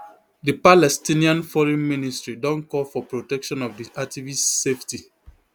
di palestinian foreign ministry don call for protection of di activists safety